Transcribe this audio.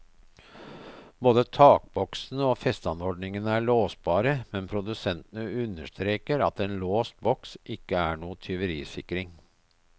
Både takboksene og festeanordningene er låsbare, men produsentene understreker at en låst boks ikke er noen tyverisikring.